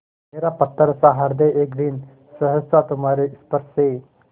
मेरा पत्थरसा हृदय एक दिन सहसा तुम्हारे स्पर्श से